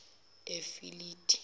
efilidi